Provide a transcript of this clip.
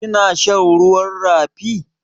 Kina shan ruwan rafi?